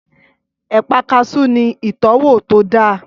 Ẹ̀pà kaasú ní ìtọ́wò tó dáa